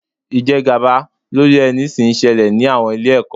Ìjẹgàba lórí ẹni sì ń ṣẹlẹ̀ ní àwọn ilé-ẹ̀kọ́.